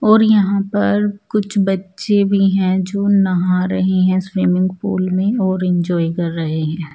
और यहाँ पर कुछ बच्चे भी है जो नहा रहे हैं स्विमिंग पूल में और इन्जॉय कर रहे हैं।